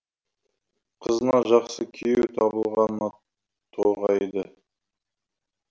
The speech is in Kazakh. қызына жақсы күйеу табылғанына тоғайды